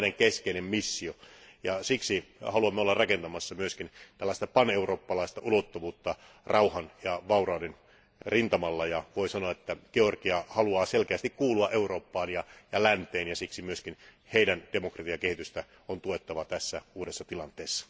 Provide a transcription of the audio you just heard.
Tämä on meidän keskeinen missiomme, ja siksi haluamme olla rakentamassa myös tällaista paneurooppalaista ulottuvuutta rauhan ja vaurauden rintamalla, ja voi sanoa, että Georgia haluaa selkeästi kuulua Eurooppaan ja länteen ja siksi myös heidän demokratiakehitystään on tuettava tässä uudessa tilanteessa.